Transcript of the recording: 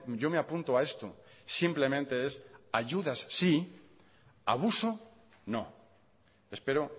yo me apunto a esto simplemente es ayudas sí abuso no espero